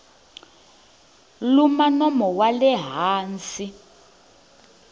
luma nomo wa le hansi